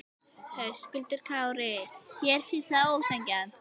Höskuldur Kári: Þér finnst það ósanngjarnt?